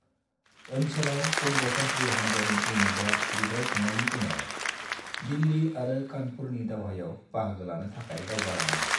ओंसोलाव बंग' सान्थ्रि हानजानि युनिटआ बिग्राय खांनायनि उनाव, दिल्ली आरो कानपुरनि दावहायाव बाहागो लानो थाखाय दावगा लाङो।